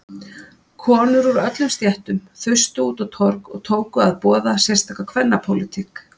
Konur úr öllum stéttum þustu út á torg og tóku að boða sérstaka kvennapólitík.